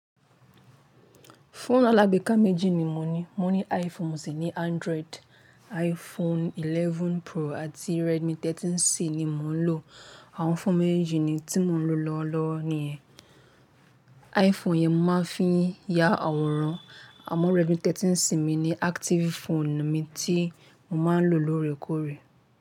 Fóònù alágbèká méjì ni mo ní. Mo ní iPhone mo sì ní Android. iPhone 11 Pro àti Redmi 13C ni mò ń lò. Àwọn fóònù méjì ni tí mò ń lo lọ́wọ́lọ́wọ́ ni yẹ. iPhone yẹn mo máa ń fi ya àwòrán àmọ́ Redmi 13C mi ni active phone mi tí mo máa ń lò lóòrèkóòrè.